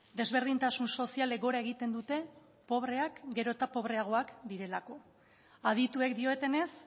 desberdintasun sozialek gora egiten dute pobreak gero eta pobreagoak direlako adituek diotenez